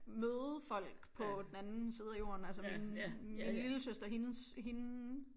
Møde folk på den anden side af jorden altså min min lillesøster hendes hende